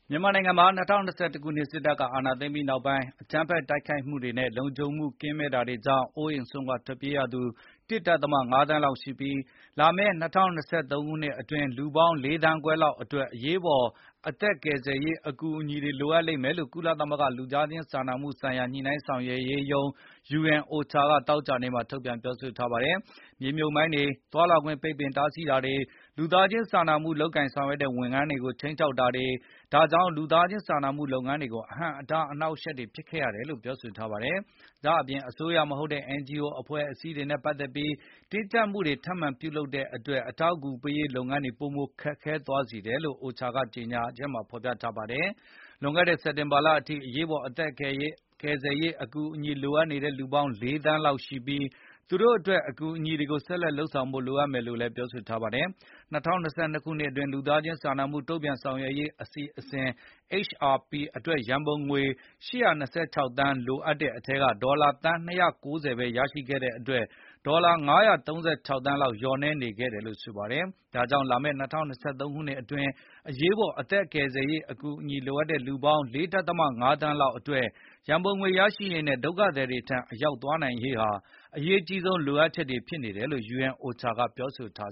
မြန်မာနိုင်ငံမှာ ၂၀၂၁ ခုနှစ် စစ်တပ်က အာဏာသိမ်းပြီးနောက် အကြမ်းဖက်တိုက်ခိုက်မှုတွေနဲ့ လုံခြုံမှုကင်းမဲ့တာတွေကြေ ာင့် အိုးအိမ်စွန့်ခွါထွက်ပြေးရသူ ၁ ဒဿမ ၅ သန်း လောက်ရှိပြီး၊ လာမယ့် ၂၀၂၃ ခုနှစ်အတွင်း လူပေါင်း ၄ သန်းခွဲလော က်အတွက် အရေးပေါ် အသက်ကယ်ဆယ်ရေးအကူအညီတွေ လိုအပ်လိမ့်မယ်လို့ ကုလသမဂ္ဂ လူသားချင်းစာနာမှုဆိုင်ရာ ညှိနှိုင်းဆောင်ရွက်ရေးရုံး UNOCHA က သောကြာနေ့မှာ ထုတ်ပြန်ပြောဆိုထားပါတယ်။ မြေမြှုပ်မိုင်းတွေ၊ သွားလာခွင့် ပိတ်ပင်တားဆီးတာတွေ၊ လူသားခြင်းစာမှု လုပ်ကိုင်ဆောင်ရွက်တဲ့ ဝန်ထမ်းတွေကို ခြိမ်းခြောက်တာတွေကြောင့် လူသားချင်းစာနာမှု လုပ်ငန်းတွေကို အဟန့်အတားအနှောက်အယှက်တွေ ဖြစ်ခဲ့ရတယ်လို့ ပြောဆိုထားပါတယ်။ ဒါ့အပြင် အစိုးရမဟုတ်တဲ့ NGO အဖွဲ့အစည်းတွေနဲ့ပတ်သက်ပြီး တင်ကြပ်မှုတွေ ထပ်မံပြုလုပ်တဲ့တွက် အထောက်အကူ ပေးရေးလုပ်ငန်းတွေကို ပိုမိုခက်ခဲသွားစေတယ်လို့ OCHA ကကြေငြာချက်မှာဖေါ်ပြထားပါတယ်။ လွန်ခဲ့တဲ့ စက်တင်ဘာလအထိ အရေးအပေါ် အသက်ကယ်ဆယ်ရေး အကူအညီလိုအပ်နေတဲ့ လူပေါင်း ၄ သန်းလောက်ရှိပြီး၊ သူတို့အတွက် အကူအညီတွေကို ဆက်လက်လုပ်ဆောင်ဖို့ လိုအပ်တယ်လို့ပြောဆိုထားပါတယ်။ ၂၀၂၂ ခုနှစ်အတွင်း လူသားချင်းစာနာမှု တုန့်ပြန်ဆောင်ရွက်ရေးအစီအစဉ် HRP အတွက် ရံပုံငွေ ၈၂၆ သန်း လိုအပ်တဲ့အထဲက ဒေါ်လာသန်း ၂၉၀ ပဲ ရရှိခဲ့တဲ့အတွက် ဒေါ်လာ ၅၃၆ သန်းလောက် လျော့နည်းနေခဲ့ပါတယ်။ ဒါကြောင့် လာမယ့် ၂၀၂၃ ခုနှစ်အ တွင်း အရေးပေါ် အသက်ကယ်ဆယ်ရေး အကူညီလို အပ်နေတဲ့ လူပေါင်း ၄ ဒဿမ ၅ သန်းလောက် အတွက် ရံပုံငွေရရှိရေးနဲ့ ဒုက္ခသည်တွေထံ အရောက် သွားနိုင်ရေးဟာ အရေးအကြီးဆုံးလိုအပ်ချက်တွေဖြစ်တယ်လို့ UNOCHA ကပြောဆိုထား